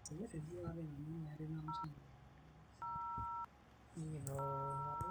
ore naa tenebo:endaa, enkare, ilmushumaani o enkibiriti, isoitok lo sitima onkulie